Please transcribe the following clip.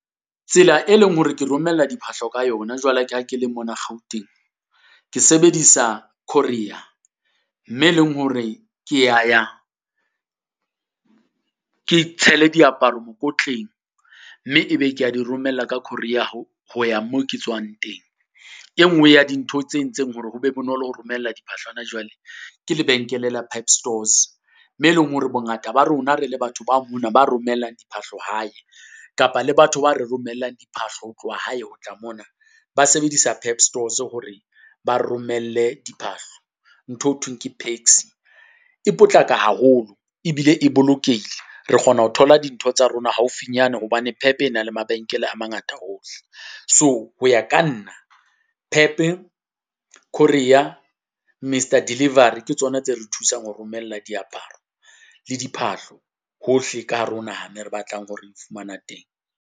Tsela e leng hore ke romella diphahlo ka yona jwale ka ha ke le mona Gauteng. Ke sebedisa courier, mme e leng hore ke yaya, ke tshele diaparo mokotleng, mme e be ke ya di romella ka courier ho, ho ya mo ke tswang teng. E nngwe ya dintho tse entseng hore ho be bonolo ho romella hona jwale. Ke lebenkele la PEP stores, mme e leng hore bongata ba rona rele batho ba mona ba romellang diphahlo hae, kapa le batho ba re romellang diphahlo ho tloha hae ho tla mona, ba sebedisa PEP stores hore ba re romelle diphahlo. Ntho eo ho thweng ke paxi. E potlaka haholo, ebile e bolokehile. Re kgona ho thola dintho tsa rona haufinyane hobane PEP e na le mabenkele a mangata hohle. So ho ya ka nna, PEP, courier, M_R delivery ke tsona tse re thusang ho romella diaparo le diphahlo hohle ka hare ho naha, mo re batlang ho di fumana teng.